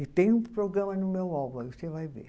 E tem um programa no meu álbum, aí você vai ver.